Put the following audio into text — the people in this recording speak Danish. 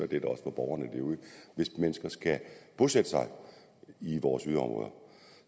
det også for borgerne derude hvis mennesker skal bosætte sig i vores yderområder